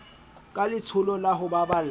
ka letsholo la ho baballa